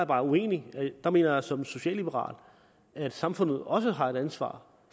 bare uenig jeg mener som socialliberal at samfundet også har et ansvar